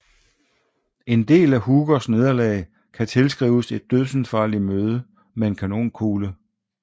En del af Hookers nederlag kan tilskrives et dødsensfarligt møde med en kanonkugle